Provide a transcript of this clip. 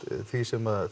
því sem